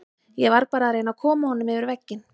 Ég var að reyna að koma honum yfir vegginn.